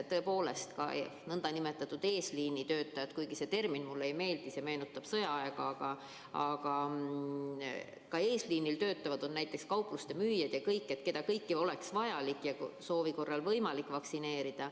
Tõepoolest, nn eesliinitöötajad on ka näiteks kaupluste müüjad, keda kõiki oleks vaja ja soovi korral võimalik vaktsineerida.